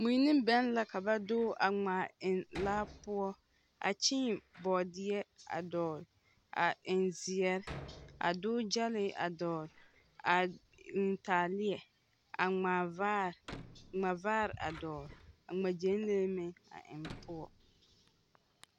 Mui ne bɛŋ la ka ba doge a ŋmaa eŋ laa poɔ a kyẽẽ bɔɔdeɛ a dɔgle a eŋ zeɛre a doge gyɛlee a eŋ taaleɛ aŋmaa vaare, ŋma vaare a dɔgle a ŋma gyɛnlee meŋ a eŋ poɔ.